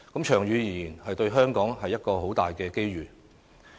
長遠而言，對香港是一個很大的機遇。